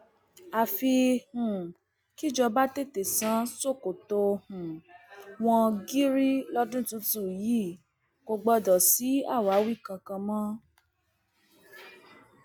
àfi um kí ìjọba tètè sàn ṣòkòtò um wọn gìrì lọdún tuntun yìí kò gbọdọ sí àwáwí kankan mọ